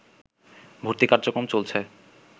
ভর্তি কার্যক্রম চলছে